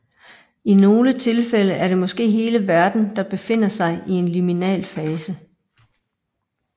I nogle tilfælde er det måske hele verden der befinder sig i en liminal fase